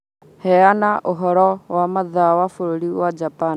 Heana ũhoro wa mathaa ma bũrũri wa Japan